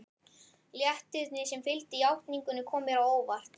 Léttirinn sem fylgdi játningunni kom mér á óvart.